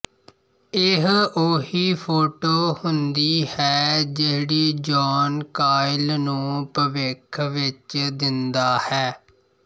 ਇਹ ਉਹੀ ਫ਼ੋਟੋ ਹੁੰਦੀ ਹੈ ਜਿਹੜੀ ਜੌਨ ਕਾਈਲ ਨੂੰ ਭਵਿੱਖ ਵਿੱਚ ਦਿੰਦਾ ਹੈ